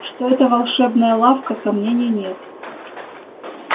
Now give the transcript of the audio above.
что это волшебная лавка сомнений нет